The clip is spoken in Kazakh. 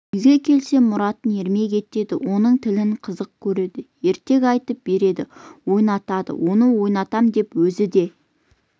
үйге келсе мұратын ермек етеді оның тілін қызық көреді ертек айтып береді ойнатады оны ойнатам деп өзі де